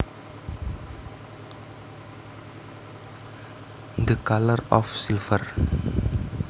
The colour of silver